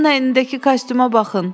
Onun əlindəki kostyuma baxın.